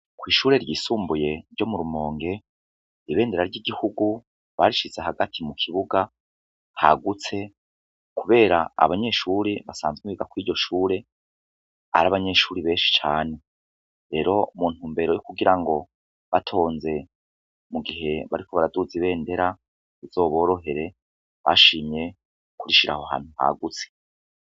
Kw'ishure ryisumbuye ryo mu Rumonge ibendera ry igihugu barishize hagati mu kibuga hagutse kubera abanyeshure basanzwe biga Kuri ryo Shure ari abanyeshure benshi cane lero muntumbero yukugirango batonze mugihe bariko baraduza ibendera bizoborohere bashimye kurishira ahantu hagutse.